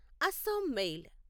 Assam mail